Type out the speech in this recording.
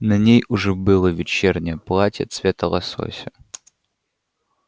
на ней уже было вечернее платье цвета лосося